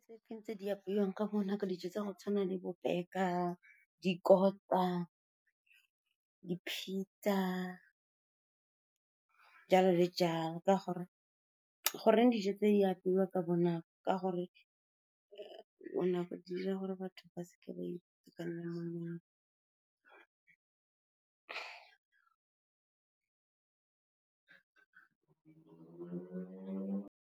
Ke tse di apewang ka bonako, dijo tsa go tshwana le bo burger, dikota, di-pizza, jalo le jalo. Goreng dijo tse di apeiwa ka bonako, ka gore di dira gore batho ba seke ba itekanela mo mmeleng.